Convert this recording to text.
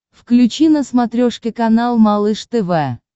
включи на смотрешке канал малыш тв